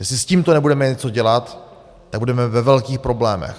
Jestli s tímto nebudeme něco dělat, tak budeme ve velkých problémech.